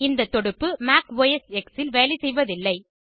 இந்த தொடுப்பு Mac OS இல் வேலை செய்வதில்லை